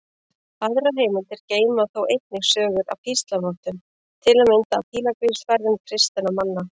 Aðrar heimildir geyma þó einnig sögur af píslarvottum, til að mynda af pílagrímsferðum kristinna manna.